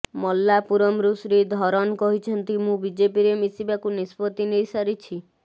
ମାଲ୍ଲାପୁରମରୁ ଶ୍ରୀଧରନ କହିଛନ୍ତି ମୁଁ ବିଜେପିରେ ମିଶିବାକୁ ନିଷ୍ପତ୍ତି ନେଇ ସାରିଛି